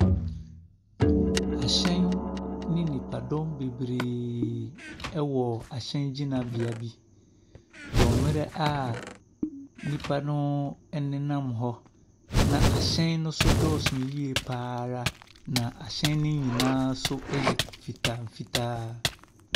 Ahyɛn ne nnipadɔm bebree ɛwɔ ahyɛngyinabea bi wɔ mmerɛ a nnipa no ɛnenam hɔ na ahyɛn no nso dɔɔso yie pa ara. Na ahyɛn ne nyinaa nso yɛ fita fitaa.